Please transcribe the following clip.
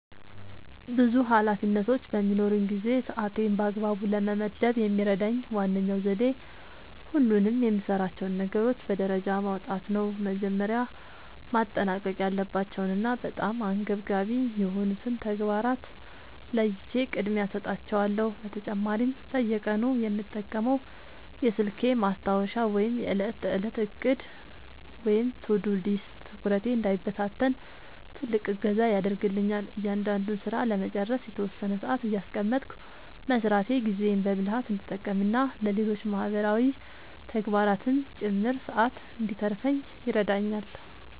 ብዙ ኃላፊነቶች በሚኖሩኝ ጊዜ ሰዓቴን በአግባቡ ለመመደብ የሚረዳኝ ዋነኛው ዘዴ ሁሉንም የምሠራቸውን ነገሮች በደረጃ ማውጣት ነው። መጀመሪያ ማጠናቀቅ ያለባቸውንና በጣም አንገብጋቢ የሆኑትን ተግባራት ለይቼ ቅድሚያ እሰጣቸዋለሁ። በተጨማሪም በየቀኑ የምጠቀመው የስልኬ ማስታወሻ ወይም የዕለት ተዕለት ዕቅድ (To-Do List) ትኩረቴ እንዳይበታተን ትልቅ እገዛ ያደርግልኛል። እያንዳንዱን ሥራ ለመጨረስ የተወሰነ ሰዓት እያስቀመጥኩ መሥራቴ ጊዜዬን በብልሃት እንድጠቀምና ለሌሎች ማህበራዊ ተግባራትም ጭምር ሰዓት እንድተርፈኝ ይረዳኛል።